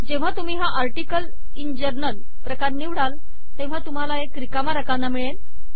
जेव्हा तुम्ही हा आर्टिकल इन जर्नल प्रकार निवडाल तेव्हा तुम्हाला एक रिकामा राकना मिळेल